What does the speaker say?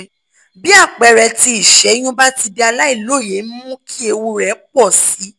bí àpẹẹrẹ tí ìṣẹ́yún bá ti di aláìlóye ń mú kí ewu rẹ pọ̀ sí i